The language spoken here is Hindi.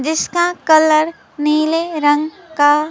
इसका कलर नीले रंग का--